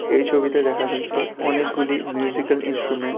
এই ছবিতে দেখা যাচ্ছে অনেকগুলি মিউজিকাল ইন্সট্রুমেন্ট ।